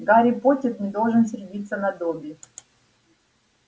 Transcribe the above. гарри поттер не должен сердиться на добби